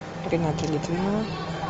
рената литвинова